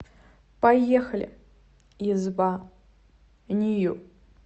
поехали изба нью